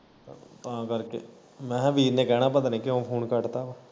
ਤਾਂ ਕਰਕੇ ਮੈਂ ਕਿਹਾ ਵੀਰ ਨੇ ਕਹਿਣਾ ਪਤਾ ਨੀ ਕਿਉਂ ਫੋਨ ਕੱਟਤਾ।